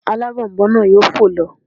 Alábònboǹ náà yóò fò lọ